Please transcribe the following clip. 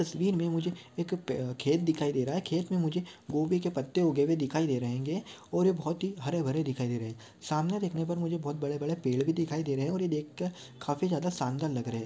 तस्वीर मैं मुझे एक खेत दिखाई दे रहा है खेत मैं मुझे गोबी के पत्ते उगे हुए दिखाई दे रहे हेंगे और ये बहुत ही हरे-भरे दिखाई दे रहे है सामने देखने पर मुझे बहुत बड़े-बड़े पेड़ भी दिखाई दे रहे है और ये देख कर काफी शानदार लग रहा है।